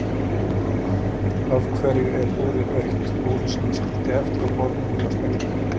Af hverju var búrið autt, búrið sem ég skildi eftir á borðinu hjá speglinum?